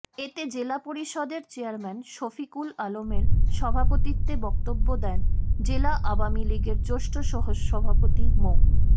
এতে জেলা পরিষদের চেয়ারম্যান শফিকুল আলমের সভাপতিত্বে বক্তব্য দেন জেলা আওয়ামী লীগের জ্যেষ্ঠ সহসভাপতি মো